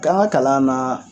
K'an ka kalanna